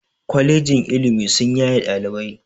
Kwalejin ilimi sun yaye ɗalibai